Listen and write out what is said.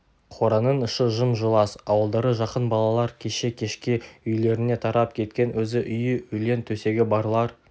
қораның іші жым-жылас ауылдары жақын балалар кеше кешке үйлеріне тарап кеткен өзі үйі өлең төсегі барлар